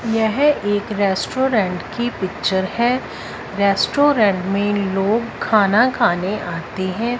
यह एक रेस्टोरेंट की पिक्चर है रेस्टोरेंट मे लोग खाना खाने आते है।